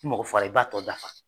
Mɔgɔ faga i b'a tɔ dafa